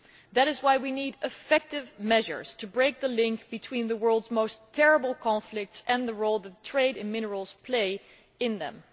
That is why we need effective measures to break the link between the world's most terrible conflicts and the role the trade in minerals plays in them